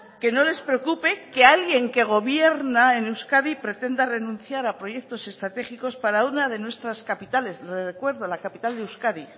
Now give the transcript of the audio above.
que no les preocupe que alguien que gobierna en euskadi pretenda renunciar a proyectos estratégicos para una de nuestras capitales recuerdo la capital de euskadi